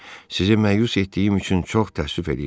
Sizi məyus etdiyim üçün çox təəssüf eləyirəm.